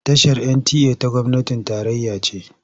Tashar NTA ta gwamnatin tarayya ce.